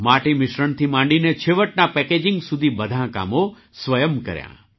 માટી મિશ્રણથી માંડીને છેવટના પેકેજિંગ સુધી બધાં કામો સ્વયં કર્યાં